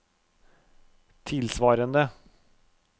tilsvarende